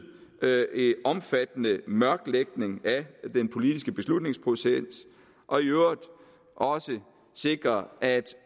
omfattende mørklægning af den politiske beslutningsproces og i øvrigt også sikre at